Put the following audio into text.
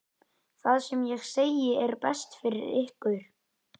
Það sem ég segi er best fyrir ykkur.